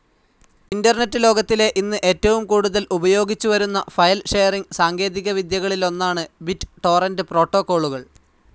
Internet ലോകത്തിലെ ഇന്ന് ഏറ്റവും കൂടുതൽ ഉപയോഗിച്ചു വരുന്ന ഫയൽ ഷെയറിംഗ്‌ സാങ്കേതികവിദ്യകളിലൊന്നാണ് ബിറ്റ്‌ ടോറന്റ്‌ പ്രോടോക്കോളുകൾ.